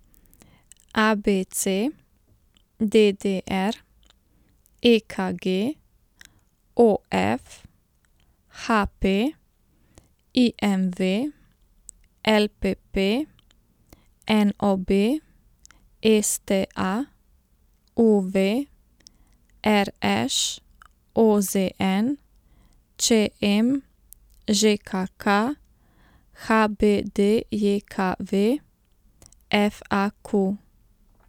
A B C; D D R; E K G; O F; H P; I M V; L P P; N O B; S T A; U V; R Š; O Z N; Č M; Ž K K; H B D J K V; F A Q.